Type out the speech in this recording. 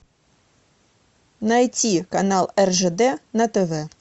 найти канал ржд на тв